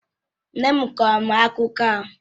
Nne m kọọrọ m akụkọ ahụ.